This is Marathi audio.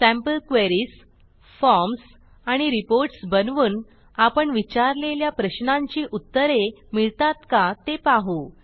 सॅम्पल क्वेरीज फॉर्म्स आणि रिपोर्ट्स बनवून आपण विचारलेल्या प्रश्नांची उत्तरे मिळतात का ते पाहू